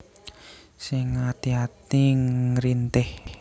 Sing ngati ati ngrintih